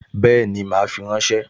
Bẹ́ẹ̀ni, mà á fi ránṣẹ́